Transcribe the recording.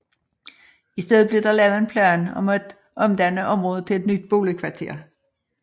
I stedet blev der lavet en plan om at omdanne området til et nyt boligkvarter